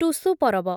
Tusu Parab